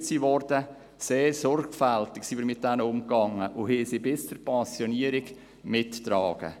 Mit diesen sind wir sehr sorgfältig umgegangen und haben sie bis zur Pensionierung mitgetragen.